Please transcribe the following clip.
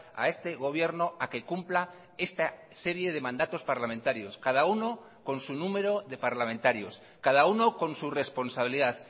a este gobierno a que cumpla esta serie de mandatos parlamentarios cada uno con su número de parlamentarios cada uno con su responsabilidad